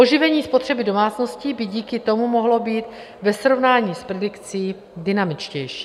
Oživení spotřeby domácností by díky tomu mohlo být ve srovnání s predikci dynamičtější.